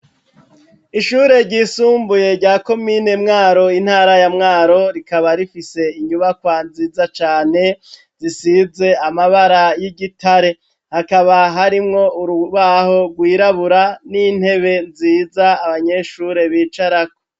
Ishure ryisumbuye rya komine mwaro intara ya mwaro rikaba rifise inyubakwa nziza cane zisize amabara y'igitare hakaba harimwo urubaho rwirabura n'intebe nziza abanyeshure bicarako.